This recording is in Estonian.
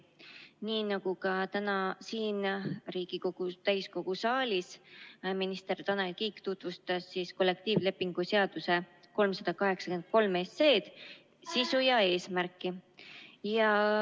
Nii nagu ka täna siin Riigikogu täiskogu saalis, tutvustas minister Tanel Kiik kollektiivlepingu seaduseb eelnõu 383 sisu ja eesmärki.